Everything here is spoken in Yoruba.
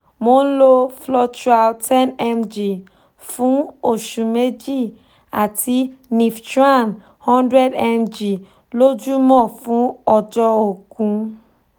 mo ń lo flotral 10mg fún oṣù méjì àti niftran 100mg lójúmọ́ fún ọjọ́ ógún